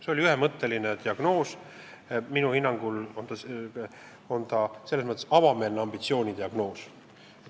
See oli ühemõtteline diagnoos, minu hinnangul on see selles mõttes avameelne ambitsiooni diagnoos.